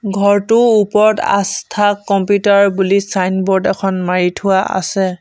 ঘৰটোৰ ওপৰত আস্থা কম্পিউটাৰ বুলি চাইনবোৰ্ড এখন মাৰি থোৱা আছে।